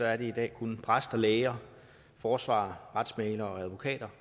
er det i dag kun præster læger forsvarere retsmæglere og advokater